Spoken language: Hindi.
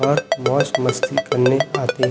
और मौज मस्ती करने --